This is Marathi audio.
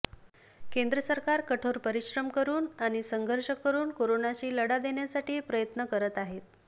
केंद्र सरकार कठोर परिश्रम करून आणि संघर्ष करून कोरोनाशी लढा देण्यासाठी प्रयत्न करत आहे